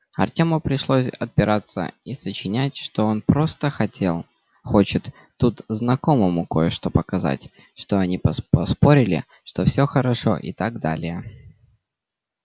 артёму пришлось отпираться и сочинять что он просто хотел хочет тут знакомому кое-что показать что они поспорили что всё хорошо и так далее